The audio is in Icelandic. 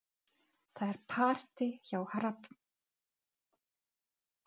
Það er partí hjá Hrafnhildi um helgina.